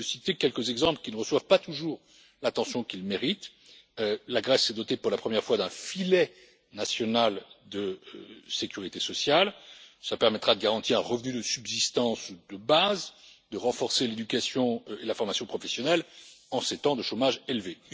Je citerai quelques exemples qui ne reçoivent pas toujours l'attention qu'ils méritent la Grèce s'est dotée pour la première fois d'un filet national de sécurité sociale qui permettra de garantir un revenu de subsistance ou de base ainsi quede de renforcer l'éducation et la formation professionnelle en ces temps de chômage élevé.